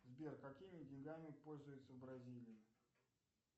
сбер какими деньгами пользуются в бразилии